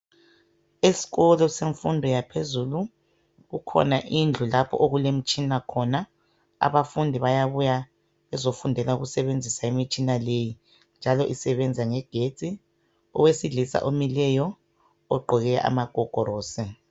Esikolo semfundo yaphezulu kukhona indlu lapho okulemtshina khona, abafundi bayabuya khona bezofundela ukusebenzisa imitshina leyi njalo isebenza ngegetsi, owesilisa omileyo ogqoke amagogorosi.